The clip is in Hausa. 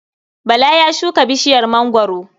Bala ya shuka bishiyar mangwaro.